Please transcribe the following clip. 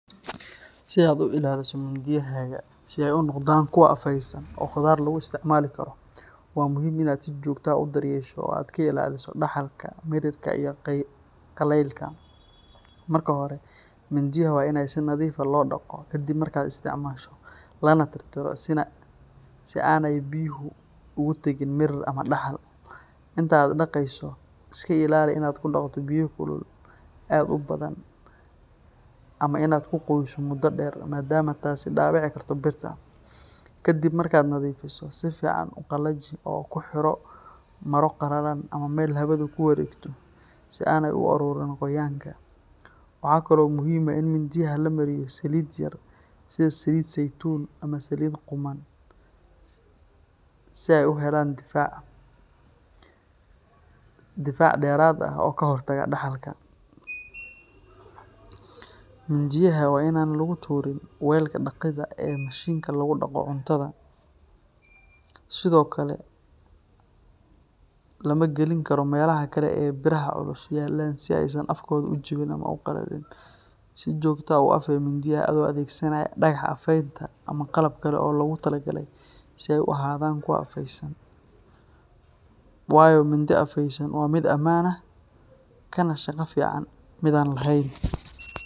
Si aad u ilaaliso mindiyahaaga si ay u noqdaan kuwo afeysan oo khudaar lagu isticmaali karo, waa muhiim inaad si joogto ah u daryeesho oo aad ka ilaaliso daxalka, mirirka, iyo qallaylka. Marka hore, mindiyaha waa in si nadiif ah loo dhaqo kadib markaad isticmaasho, lana tirtiro si aanay biyuhu ugu tegin mirir ama daxal. Inta aad dhaqayso, iska ilaali inaad ku dhaqdo biyo kulul aad u badan ama inaad ku qoyso muddo dheer maadaama taasi dhaawici karto birta. Ka dib markaad nadiifiso, si fiican u qalaji oo ku xiro maro qalalan ama meel hawadu ku wareegto si aanay u ururin qoyaanka. Waxa kale oo muhiim ah in mindiyaha la mariyo saliid yar sida saliid saytuun ama saliid qumman si ay u helaan difaac dheeraad ah oo ka hortaga daxalka. Mindiyaha waa in aan lagu tuurin weelka dhaqida ee mashiinka lagu dhaqo cuntada, sidoo kale lama gelin karo meelaha kale ee biraha culus yaallaan si aysan afkooda u jabin ama u qallajin. Si joogto ah u afee mindiyaha adoo adeegsanaya dhagax afeynta ama qalab kale oo loogu talagalay si ay u sii ahaadaan kuwo afeysan, waayo mindi afeysan waa mid ammaan ah kana shaqo fiican mid aan lahayn.